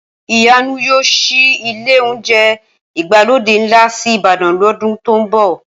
Ìyanu yóò ṣí ilé oúnjẹ ìgbàlódé ńlá sí Ìbàdàn lọ́dún tó ń bọ̀